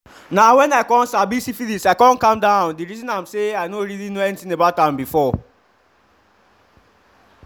na when i come sabi syphilis i come calm down the reason am say i no really know anything about am before